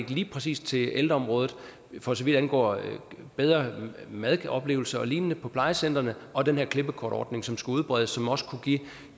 af lige præcis til ældreområdet for så vidt angår bedre madoplevelser og lignende på plejecentrene og den her klippekortordning som skal udbredes som også kan give